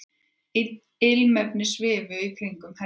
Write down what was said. Ilmefnin svifu í kringum Helgu.